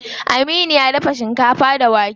Aminu ya dafa shinkafa da wake.